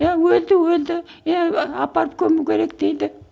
иә өлді өлді иә апарып көму керек дейді